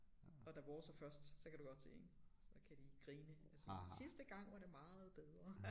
Og da vores er først så kan du godt se ik så kan de grine og sige sidste gang var det meget bedre